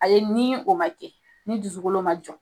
A ye ni o ma kɛ, ni dusukolo ma jɔ